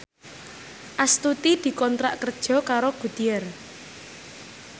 Astuti dikontrak kerja karo Goodyear